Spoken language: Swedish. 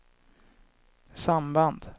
samband